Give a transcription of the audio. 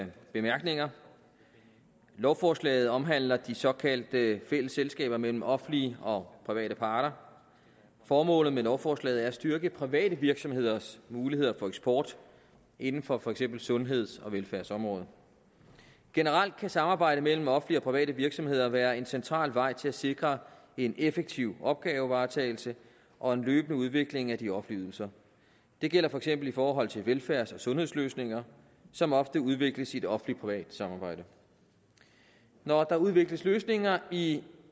bemærkninger lovforslaget omhandler de såkaldte fælles selskaber mellem offentlige og private parter formålet med lovforslaget er at styrke private virksomheders muligheder for eksport inden for for eksempel sundheds og velfærdsområdet generelt kan samarbejde mellem offentlige og private virksomheder være en central vej til at sikre en effektiv opgavevaretagelse og en løbende udvikling af de offentlige ydelser det gælder for eksempel i forhold til velfærds og sundhedsløsninger som ofte udvikles i et offentlig privat samarbejde når der udvikles løsninger i